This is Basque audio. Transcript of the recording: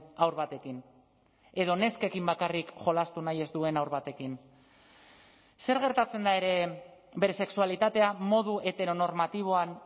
haur batekin edo neskekin bakarrik jolastu nahi ez duen haur batekin zer gertatzen da ere bere sexualitatea modu heteronormatiboan